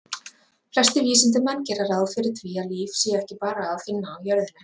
Flestir vísindamenn gera ráð fyrir því að líf sé ekki bara að finna á jörðinni.